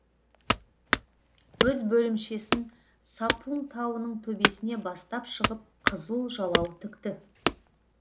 өз бөлімшесін сапун тауының төбесіне бастап шығып қызыл жалау тікті